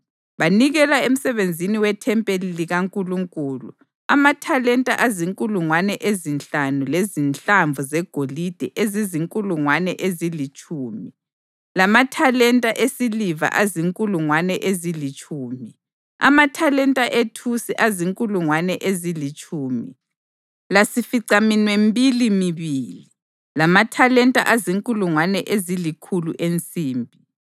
Banikela emsebenzini wethempeli likaNkulunkulu amathalenta azinkulungwane ezinhlanu lezinhlamvu zegolide ezizinkulungwane ezilitshumi, lamathalenta esiliva azinkulungwane ezilitshumi, amathalenta ethusi azinkulungwane ezilitshumi lasificaminwembili mibili, lamathalenta azinkulungwane ezilikhulu ensimbi.